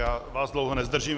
Já vás dlouho nezdržím.